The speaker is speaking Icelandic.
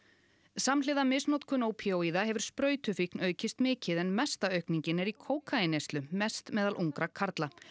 samhliða misnotkun ópíóíða hefur sprautufíkn aukist mikið en mesta aukningin er í kókaínneyslu mest meðal ungra karla